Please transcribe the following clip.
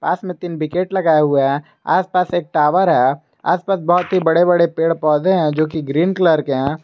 पास में तीन विकेट लगाए हुए हैं आसपास एक टावर है आसपास बहुत ही बड़े बड़े पेड़ पौधे हैं जो कि ग्रीन कलर के हैं।